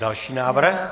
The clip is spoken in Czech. Další návrh.